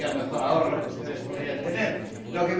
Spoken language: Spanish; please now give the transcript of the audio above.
Sería el mejor ahorro que ustedes podrían tener... Lo